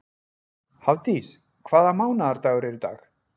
Hafdís, hvaða mánaðardagur er í dag?